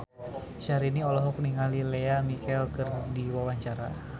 Syahrini olohok ningali Lea Michele keur diwawancara